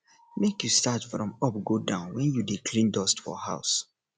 make you start from up go down when you dey clean dust for house